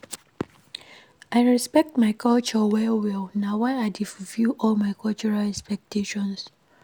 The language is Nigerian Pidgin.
I respect my culture well-well na why I dey fulfil all my cultural expectations.